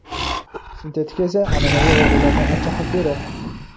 Sintetika esa an’anaviy og‘ulardan ancha xavfliroq.